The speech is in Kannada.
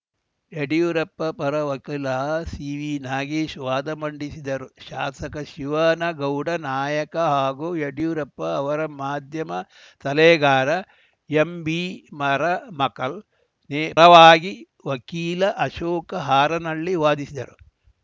ಯಡಿಯೂರಪ್ಪ ಪರ ವಕೀಲ ಸಿವಿನಾಗೇಶ್‌ ವಾದ ಮಂಡಿಸಿದರು ಶಾಸಕ ಶಿವನಗೌಡ ನಾಯಕ ಹಾಗೂ ಯಡ್ಯೂರಪ್ಪ ಅವರ ಮಾಧ್ಯಮ ಸಲಹೆಗಾರ ಎಂಬಿಮರಮಕಲ್‌ ಪರವಾಗಿ ವಕೀಲ ಅಶೋಕ ಹಾರನಹಳ್ಳಿ ವಾದಿಸಿದರು